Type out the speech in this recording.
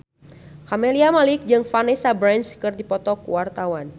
Camelia Malik jeung Vanessa Branch keur dipoto ku wartawan